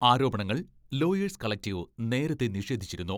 ആരോപണങ്ങൾ lawyers collective നേരത്തെ നിഷേധിച്ചിരുന്നു.